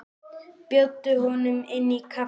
Bjóddu honum inn í kaffi.